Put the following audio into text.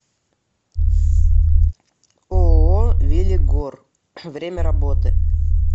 ооо велигоръ время работы